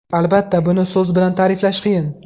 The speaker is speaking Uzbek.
Albatta, buni so‘z bilan ta’riflash qiyin.